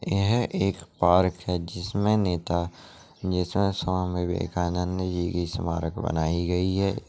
यह एक पार्क है जिसमें नेता जैसा स्वामी विवेकानंद जी की समरक बनाई गई हैं।